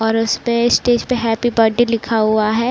और उसपे स्टेज पे हैप्पी बडे लिखा हुआ है।